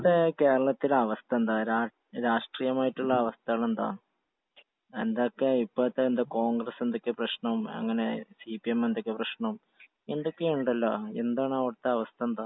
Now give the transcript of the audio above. ഇപ്പഴത്തെ കേരളത്തിലെ അവസ്ഥ എന്തുവാ? രാഷ്ട്രീയമായിട്ടുള്ള അവസ്ഥകളെന്തുവാ? എന്തെക്കെയാ? ഇപ്പഴത്തെ എന്തുവാ കോൺഗ്രസ് എന്തൊക്കെയാ പ്രശ്‌നം അങ്ങനെ സിപിഎം എന്തൊക്കെയാ പ്രശ്നം? എന്തൊക്കെയോ ഉണ്ടല്ലോ? എന്താണ്, അവിടത്തെ അവസ്ഥ എന്തുവാ?